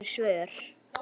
Við fáum engin svör.